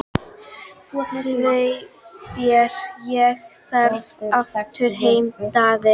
Svei þér og farðu aftur heim, Daði!